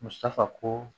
Musaka ko